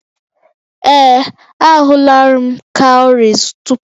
Ee, ahụla m cowries tupu